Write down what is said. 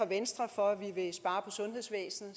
venstre for at ville spare på sundhedsvæsenet